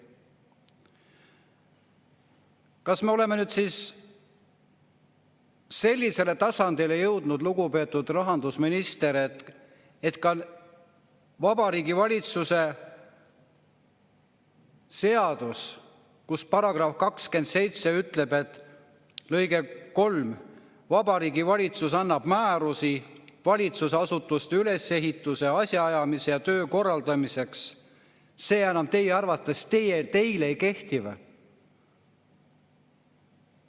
Kas me oleme nüüd sellisele tasandile jõudnud, lugupeetud rahandusminister, et ka Vabariigi Valitsuse seadus, mille § 27 lõige 3 ütleb, et Vabariigi Valitsus annab määrusi valitsusasutuste ülesehituse, asjaajamise ja töö korraldamiseks, teie arvates teile enam ei kehti?